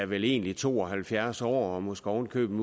vel egentlig to og halvfjerds år og måske oven i købet